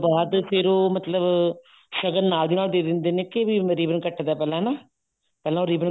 ਬਾਅਦ ਫੇਰ ਉਹ ਮਤਲਬ ਸ਼ਗਨ ਨਾਲ ਦੀ ਨਾਲ ਦੇ ਦਿੰਦੇ ਨੇ ਕੇ ਵੀ ribbon ਕੱਟਦਾ ਪਹਿਲਾਂ ਹਨਾ ਪਹਿਲਾਂ ਉਹ ribbon